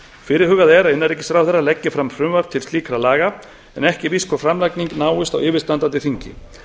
fyrirhugað er að innanríkisráðherra leggi fram frumvarp til slíkra laga en ekki er víst hvort framlagning náist á yfirstandandi þingi